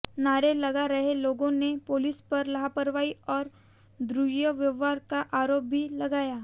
नारे लगा रहे लोगों ने पुलिस पर लापरवाही और दुव्र्यवहार का आरोप भी लगाया